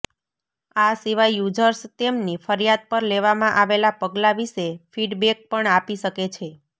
આ સિવાય યુઝર્સ તેમની ફરિયાદ પર લેવામાં આવેલા પગલાં વિષે ફીડબેક પણ આપી શકે છે